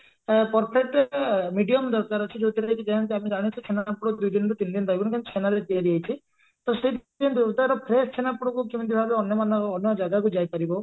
ଆ perfect medium ଦରକାର ଅଛି ଯଉଥିରେ କି ଯେମତି ଆମେ ଜାଣୁଛେ ଛେନାପୋଡ ଦୁଇଦିନ ତିନଦିନରୁ ରହିବନି କାରଣ ଛେନାରେ ତିଆରି ହେଇଛି ତ ସେଇଥିପାଇଁ ତାର fresh ଛେନାପୋଡକୁ କେମିତି ଭାବେ ଅନ୍ୟମାନଙ୍କ ଅନ୍ୟ ଜାଗାକୁ ଯାଇପାରିବ